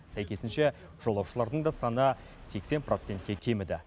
сәйкесінше жолаушылардың да саны сексен процентке кеміді